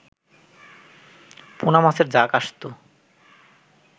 পুনা মাছের ঝাঁক আসত